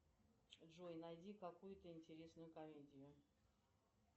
джой найди какую то интересную комедию